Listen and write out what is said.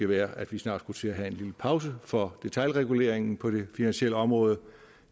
være at vi snart skulle til at have en lille pause for detailreguleringen på det finansielle område